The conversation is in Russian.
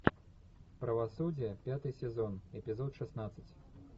правосудие пятый сезон эпизод шестнадцать